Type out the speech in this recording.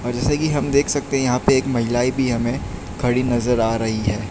र जैसे कि हम देख सकते हैं यहां पे एक महिलाएं भी हमें खड़ी नजर आ रही है।